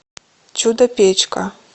чудо печка